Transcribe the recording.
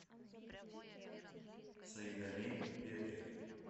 саидамин петрик